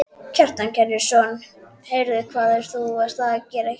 Karen Kjartansdóttir: Heyrðu hvað ert þú að gera hér?